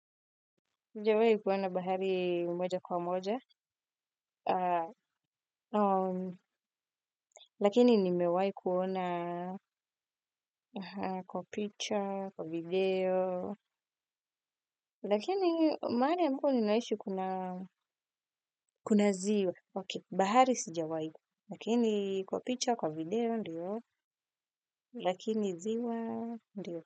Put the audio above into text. Sijawai kuona bahari mmoja kwa mmoja, lakini nimewai kuona kwa picha, kwa video, lakini malari ambapo ninaishi kuna ziwa. Bahari sijawai, lakini kwa picture, kwa video, lakini ziwa, lakini ziwa, lakini ziwa.